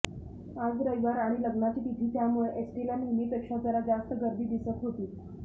आज रविवार आणि लग्नाची तिथी त्यामुळं एसटीला नेहमीपेक्षा जरा जास्त गर्दी दिसत होती